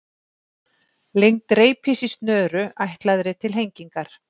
Lengd reipis í snöru ætlaðri til hengingar.